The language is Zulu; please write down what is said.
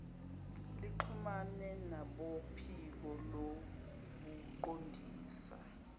nixhumane nabophiko lobuqondisi